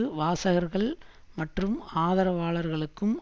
வாசகர்கள் மற்றும் ஆதரவாளர்களுக்கும்